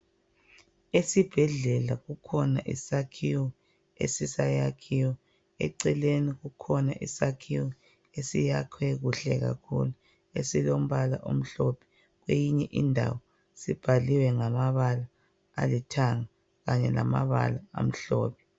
Esibhedlela kukhona isakhiwo esisayakhiwa eceleni kukhona isakhiwo esakhiwe kuhle kakhulu eceleni kweyinye indawo sibhalwe ngamabala alithanga kanye lamabala amhlophe